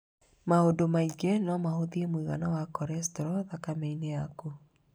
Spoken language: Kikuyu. Maũndũ maingĩ no mahũtie mũigana wa korestro thakame-inĩ yakũ